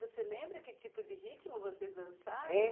Você lembra que tipo de ritmo vocês dançaram? Hein?